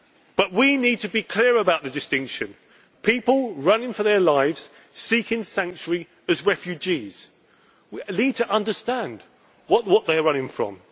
all out. But we need to be clear about the distinction people running for their lives, seeking sanctuary as refugees. We need to understand what they are running